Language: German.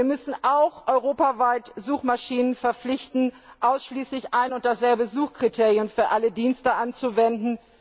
Wir müssen auch europaweit Suchmaschinen verpflichten, ausschließlich ein und dasselbe Suchkriterium für alle Dienste anzuwenden.